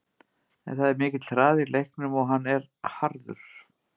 En það er mikill hraði í leiknum og hann er harður.